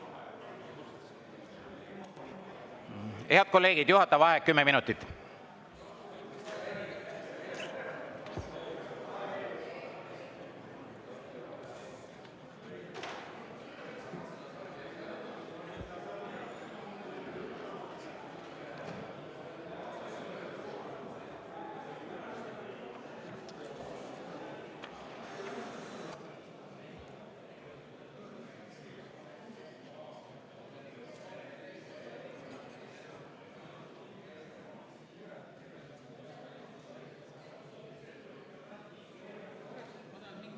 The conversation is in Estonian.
Head kolleegid, juhataja vaheaeg kümme minutit.